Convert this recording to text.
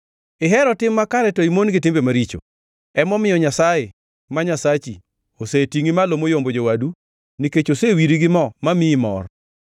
Ihero tim makare to imon gi timbe maricho; emomiyo Nyasaye, ma Nyasachi, osetingʼi malo moyombo jowadu nikech osewiri gi mo mamiyi mor.